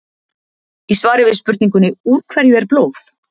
Í svari við spurningunni Úr hverju er blóð?